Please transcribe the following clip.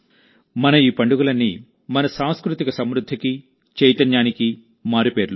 మన ఈ పండుగలన్నీ మన సాంస్కృతిక సమృద్ధికి చైతన్యానికి మారుపేర్లు